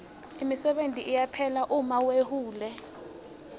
imisebenti iyaphela uma wehule